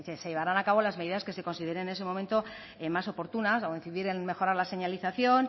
se llevarán a cabo las medidas que se consideren en ese momento más oportunas incidir en mejorar la señalización